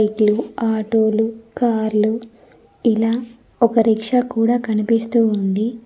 ఆటోలు కార్లు ఇలా ఒక రిక్షా కూడా కనిపిస్తూ ఉంది.